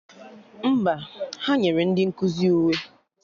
Mba, ha nyere ndị nkụzi uwe